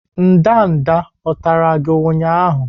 ndanda o tara gi ụnyahụ?